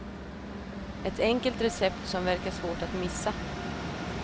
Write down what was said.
Ett enkelt recept som verkar svårt att missa.